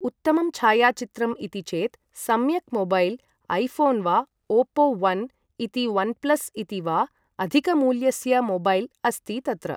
उत्तमं छायाचित्रम् इति चेत् सम्यक् मोबैल् ऐफोन् वा ओपो ओन् इति ओन्प्लस् इति वा अधिकमूल्यस्य मोबैल् अस्ति तत्र